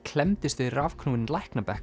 klemmdist við rafknúinn